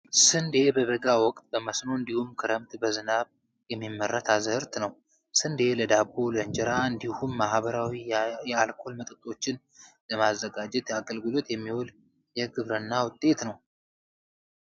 ስንዴ በበጋ ወቅት በመስኖ እንዲሁም ክረምት በዝናብ የሚመረት አዝርዕት ነው። ስንዴ ለዳቦ፣ ለእንጀራ እንዲሁም ባህላዊ የአልኮል መጠጦችን ለማዘጋጀት አገልግሎት የሚውል የግብርና ውጤት ነው።